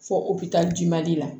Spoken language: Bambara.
Fo ji mali la